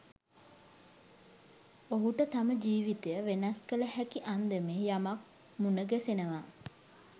ඔහුට තම ජීවිතය වෙනස් කල හැකි අන්දමේ යමක් මුන ගැසෙනවා.